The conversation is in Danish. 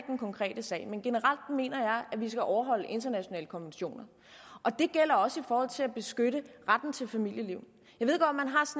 den konkrete sag men generelt mener jeg at vi skal overholde internationale konventioner det gælder også i forhold til at beskytte retten til familieliv